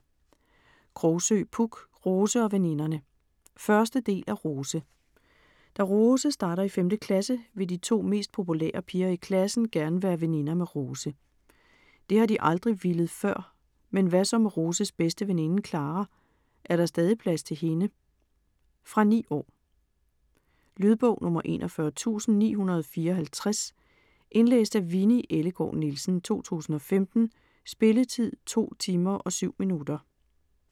Krogsøe, Puk: Rose og veninderne 1. del af Rose. Da Rose starter i 5. klasse vil de to mest populære piger i klassen gerne være veninder med Rose. Det har de aldrig villet før, men hvad så med Roses bedste veninde Klara, er der stadig plads til hende? Fra 9 år. Lydbog 41954 Indlæst af Winni Ellegaard Nielsen, 2015. Spilletid: 2 timer, 7 minutter.